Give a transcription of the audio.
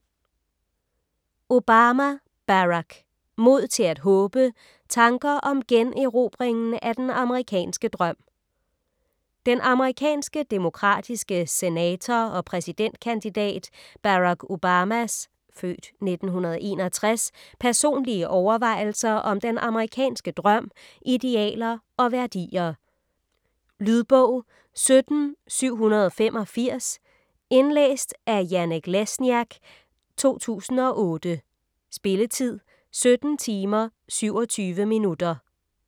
Obama, Barack: Mod til at håbe: tanker om generobringen af den amerikanske drøm Den amerikanske demokratiske senator og præsidentkandidat Barack Obamas (f. 1961) personlige overvejelser om den amerikanske drøm, idealer og værdier. Lydbog 17785 Indlæst af Janek Lesniak, 2008. Spilletid: 17 timer, 27 minutter.